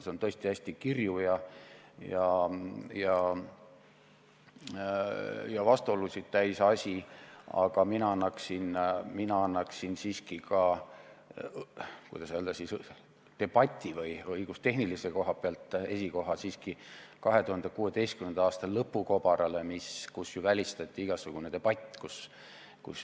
See on tõesti hästi kirju ja vastuolusid täis, aga mina annaksin, kuidas nüüd öelda, debati või õigustehnilise koha pealt esikoha siiski 2016. aasta lõpu kobarale, mille korral oli välistatud igasugune debatt.